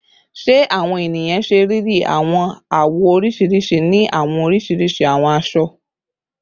Ṣe awọn eniyan ṣe riri awọn awọ oriṣiriṣi ni awọn oriṣiriṣi awọn aṣọ?